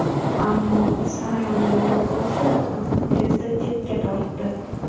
Ammo Saraning bobosi qizni tezda chetga tortdi.